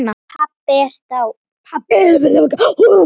Pabbi dáinn.